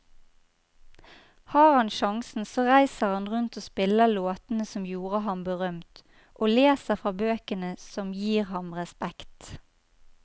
Har han sjansen så reiser han rundt og spiller låtene som gjorde ham berømt, og leser fra bøkene som gir ham respekt.